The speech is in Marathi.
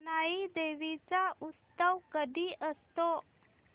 जानाई देवी चा उत्सव कधी असतो